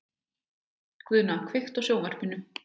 Guðna, kveiktu á sjónvarpinu.